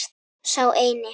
Sá eini.